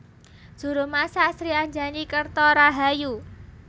Juru masak Sri Anjani Kerto Rahayu